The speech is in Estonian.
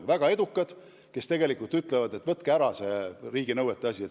On väga edukad, kes ütlevad, et võtke pealegi riigi nõuded meilt ära.